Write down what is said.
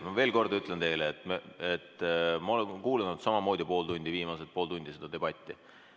Ma veel kord ütlen teile, et ma olen kuulanud samamoodi viimased pool tundi seda debatti.